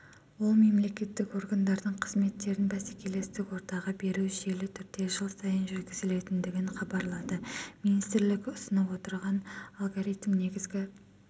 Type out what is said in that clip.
ол мемлекеттік органдардың қызметтерінбәсекелестік ортаға беру жүйелі түрде жылсайын жүргізілетіндігін хабарлады министрлік ұсынып отырған алгоритм негізгі